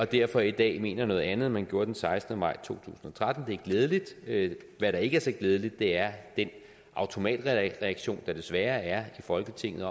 derfor i dag mener noget andet end man gjorde den sekstende maj to og tretten det er glædeligt hvad der ikke er så glædeligt er den automatreaktion der desværre er i folketinget